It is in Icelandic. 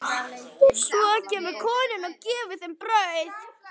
Svo kemur konan og gefur þeim brauð.